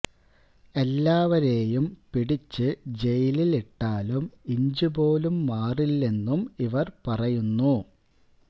എല്ലാവരെയും പിടിച്ച് ജയിലില് ഇട്ടാലും ഇഞ്ചു പോലും മാറില്ലെന്നും ഇവര് പറയുന്നു